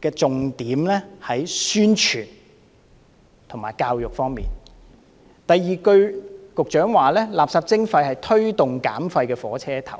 的重點，在於宣傳和教育方面；第二，局長說垃圾徵費是推動減廢的火車頭。